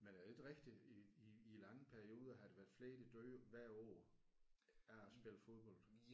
Men er det ikke rigtigt i i i lange perioder har der været flere der dør hvert år af at spille fodbold